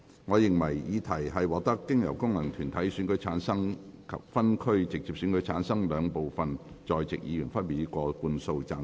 我認為議題獲得經由功能團體選舉產生及分區直接選舉產生的兩部分在席議員，分別以過半數贊成。